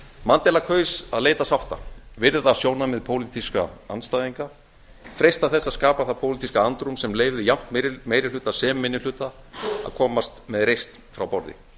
mandela kaus að leita sátta virða sjónarmið pólitískra andstæðinga freista þess að skapa það pólitíska andrúm sem leyfði jafnt meiri hluta sem minni hluta að komast með reisn frá borði